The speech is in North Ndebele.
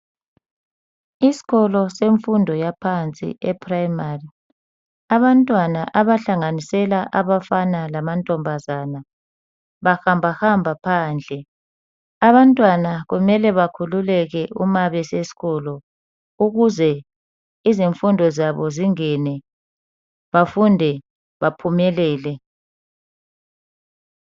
Isikolo semfundo yaphansi eprimary. Abantwana abahlanganisela abafana lamantombazana bahamba hamba phandle. Abantwana kumele bakhululeke uma besesikolo ukuze izinfundo zabo zingene bafunde baphumelele.